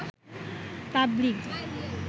তাবলিগ